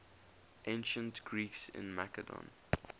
ancient greeks in macedon